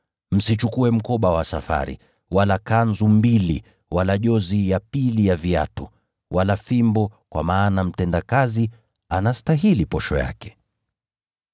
Msichukue mkoba wa safari, wala kanzu mbili, wala jozi ya pili ya viatu, wala fimbo, kwa maana mtendakazi anastahili posho yake.